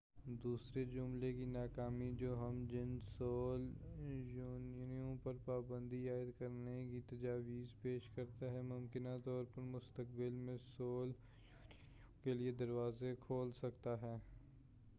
دوسرے جملے کی ناکامی جو ہم جنس سول یونینوں پر پابندی عائد کرنے کی تجویز پیش کرتا ہے ممکنہ طور پر مستقبل میں سول یونینوں کیلئے دروازے کھول سکتا ہے